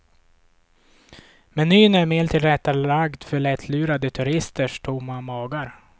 Menyn är mer tillrättalagd för lättlurade turisters tomma magar.